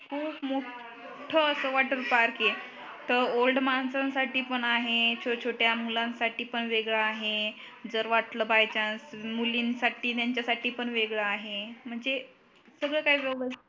खूप मोठ अस वॉटर पार्क आहे तर ओल्ड माणसांसाठी पण आहे छोट छोट्या मुलांनासाठी पण वेगळ आहे जर वाटल बाय चान्स मुलीनसाठी त्याच्या साठी पण वेगळ आहे म्हणजे सगळ काही व्यवस्तीत